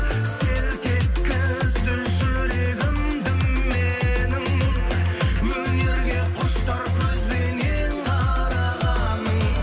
селт еткізді жүрегімді менің өнерге құштар көзбенең қарағаның